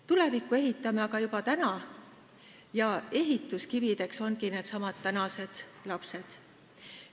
Tulevikku ehitame aga juba täna ja ehituskivideks ongi needsamad tänased lapsed.